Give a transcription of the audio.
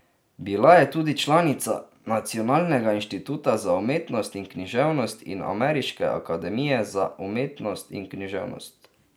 Bila je tudi članica Nacionalnega inštituta za umetnost in književnost in Ameriške akademije za umetnosti in književnost.